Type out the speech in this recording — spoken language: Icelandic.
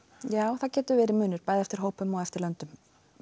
já það getur verið munur bæði eftir hópum og eftir löndum